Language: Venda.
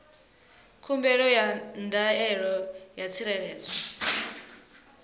khumbelo ya ndaela ya tsireledzo